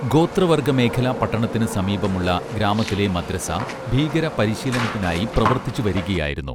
ഗോത്ര വർഗ മേഖലാ പട്ടണത്തിനു സമീപമുള്ള ഗ്രാമത്തിലെ മദ്രസ ഭീകരപരിശീലനത്തിനായി പ്രവർത്തിച്ചു വരികയായിരുന്നു